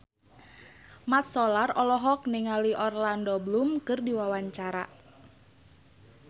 Mat Solar olohok ningali Orlando Bloom keur diwawancara